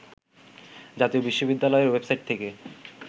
জাতীয় বিশ্ববিদ্যালয়ের ওয়েবসাইট থেকে